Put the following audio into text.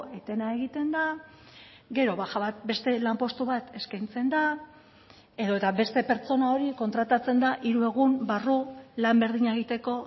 etena egiten da gero baja bat beste lanpostu bat eskaintzen da edota beste pertsona hori kontratatzen da hiru egun barru lan berdina egiteko